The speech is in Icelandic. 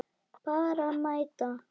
Bara mæta.